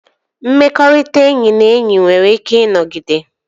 Mmekọrịta enyi na enyi nwere ike ịnọgide